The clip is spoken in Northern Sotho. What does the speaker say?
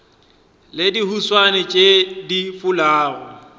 le dihuswane tšeo di fulago